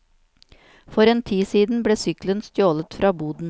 For en tid siden ble sykkelen stjålet fra boden.